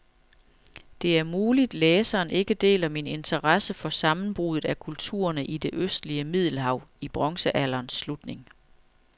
Det er muligt, læseren ikke deler min interesse for sammenbruddet af kulturerne i det østlige middelhav i bronzealderens slutning.